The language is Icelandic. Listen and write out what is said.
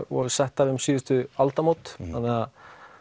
voru settar um síðustu aldamót þannig að